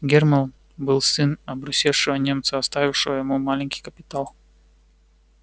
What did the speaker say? германн был сын обрусевшего немца оставившего ему маленький капитал